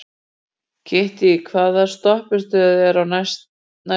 Kittý, hvaða stoppistöð er næst mér?